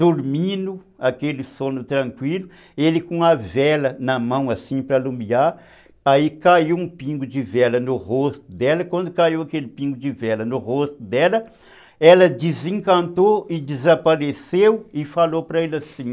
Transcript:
dormindo, aquele sono tranquilo, ele com a vela na mão assim para iluminar, aí caiu um pingo de vela no rosto dela, quando caiu aquele pingo de vela no rosto dela, ela desencantou e desapareceu e falou para ele assim,